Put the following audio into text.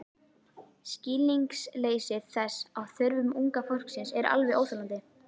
Skilningsleysi þess á þörfum unga fólksins er alveg óþolandi.